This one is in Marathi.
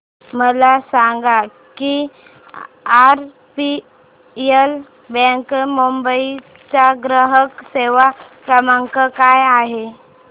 मला सांगा की आरबीएल बँक मुंबई चा ग्राहक सेवा क्रमांक काय आहे